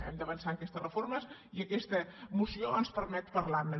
hem d’avançar en aquestes reformes i aquesta moció ens permet parlarne